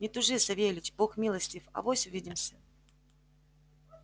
не тужи савельич бог милостив авось увидимся